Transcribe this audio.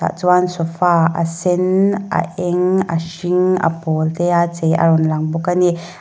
tah chuan sofa a sen a eng a hring a pawl te a chei a rawn lang bawk a ni.